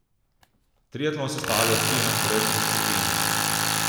Triatlon sestavljajo tri enakovredne discipline.